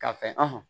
K'a fɛ